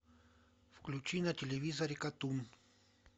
включи на телевизоре катун